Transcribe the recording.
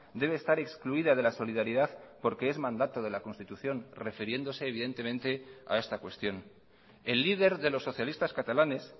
debe estar excluida de la solidaridad porque es mandato de la constitución refiriéndose evidentemente a esta cuestión el líder de los socialistas catalanes